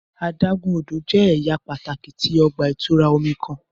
Adágún odò jẹ́ ẹ̀yà pàtàki tí ọgbà -ìtura omi kan.